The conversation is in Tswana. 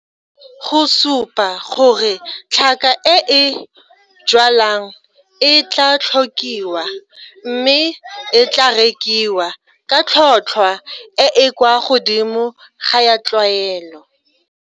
Go supa gore tlhaka e o e jwalang e tlaa tlhokiwa mme e tlaa rekiwa ka tlhotlhwa e e kwa godimo ga ya tlwaelo.